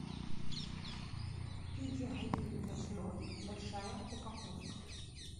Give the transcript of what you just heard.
педигри мясной большая упаковка